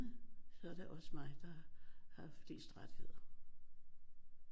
Så er det også mig der har flest rettigheder